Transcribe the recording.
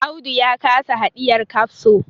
Audu ya kasa hidiyar kafso